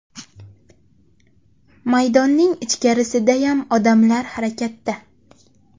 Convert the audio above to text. Maydonning ichkarisidayam odamlar harakatda.